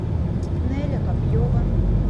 неля копьева